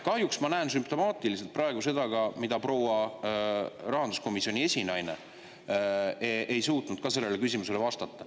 Kahjuks ma näen sümptomaatilisena praegu ka seda, et proua rahanduskomisjoni esinaine ei suutnud sellele küsimusele vastata.